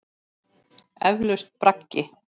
Eflaust braggi.